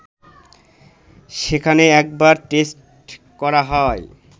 সেখানে একবার টেস্ট করা হয়